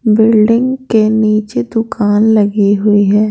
Building के नीचे दुकान लगी हुई है।